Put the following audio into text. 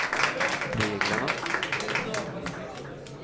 reglerna